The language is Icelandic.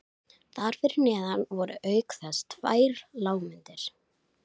Þar fyrir neðan voru auk þess tvær lágmyndir